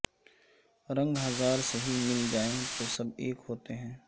رنگ ہزار سہی مل جائیں تو سب ایک ہوتے ہیں